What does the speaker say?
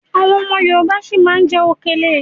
Àwọn ọmọ Yorùbá si má ma jẹ okèlè.